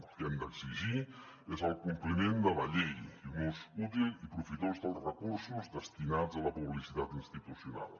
el que hem d’exigir és el compliment de la llei i un ús útil i profitós dels recursos destinats a la publicitat institucional